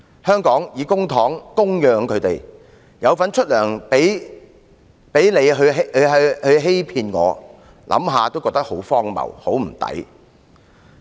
香港以公帑供養他們，市民有份支薪給他們欺騙自己，想想也感到很荒謬和不值。